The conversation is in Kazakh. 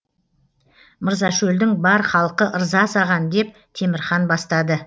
мырзашөлдің бар халқы ырза саған деп темірхан бастады